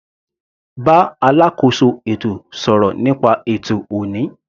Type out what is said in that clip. Bá alákóso ètò sọ̀rọ̀ nípa ètò ọ̀ní.